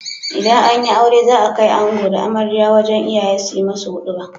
Idan anyi aure za a kai ango da amarya wajan iyaye sunyi musu huduba